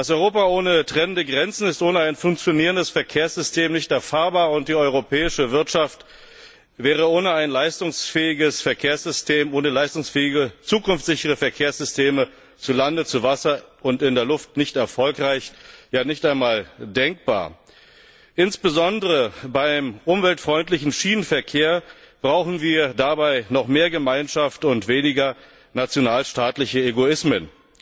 Europa ohne trennende Grenzen ist ohne ein funktionierendes Verkehrssystem nicht erfahrbar, und die europäische Wirtschaft wäre ohne ein leistungsfähiges Verkehrssystem, ohne leistungsfähige zukunftssichere Verkehrssysteme zu Lande, zu Wasser und in der Luft nicht erfolgreich, ja, nicht einmal denkbar. Insbesondere beim umweltfreundlichen Schienenverkehr brauchen wir dabei noch mehr Gemeinschaft und weniger nationalstaatliche Egoismen.